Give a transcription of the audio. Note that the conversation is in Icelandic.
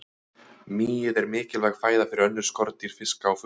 Mýið er mikilvæg fæða fyrir önnur skordýr, fiska og fugla.